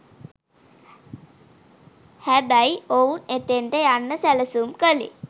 හැබයි ඔවුන් එතෙන්ට යන්න සැලසුම් කලේ